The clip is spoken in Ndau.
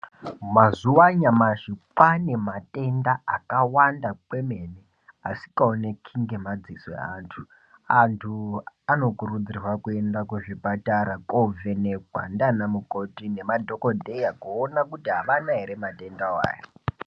Mazuwa anyamashi kwaane matenda akawanda kwemene asikaoneki ngemadziso eantu ,antu anokurudzirwe kuende kuzvipatara kovhenekwa ndiana mukoti nemaDhokodheya kuti avana ere matendawo aya.